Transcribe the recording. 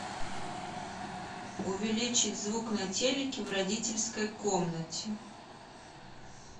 увеличить звук на телике в родительской комнате